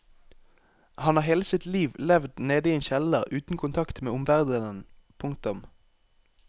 Han har hele sitt liv levd nede i en kjeller uten kontakt med omverdenen. punktum